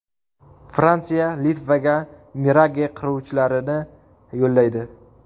Fransiya Litvaga Mirage qiruvchilarini yo‘llaydi.